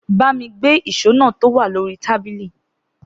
Gbàmí gbe ìsó nà tọ wa lòrí tàbilii.